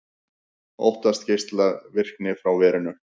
Óttast geislavirkni frá verinu